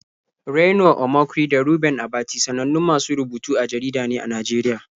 Reno Omokri da Reuben Abati sanannun masu rubutu a jarida ne a Najeriya.